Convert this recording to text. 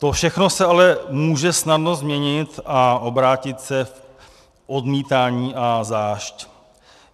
To všechno se ale může snadno změnit a obrátit se v odmítání a zášť.